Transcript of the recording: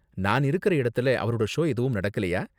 நான் இருக்குற இடத்துலஅவரோட ஷோ எதுவும் நடக்கலயா?